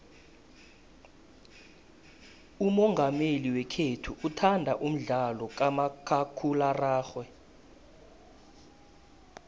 umongameli wekhethu uthanda umdlalo kamakhakhulararhwe